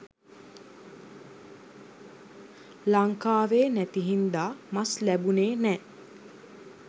ලංකාවේ නැති හින්දා මස් ලැබුනේ නෑ